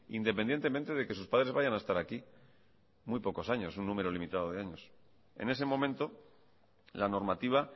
independientemente de que sus padres vayan a estar aquí muy pocos años un número limitado de años en ese momento la normativa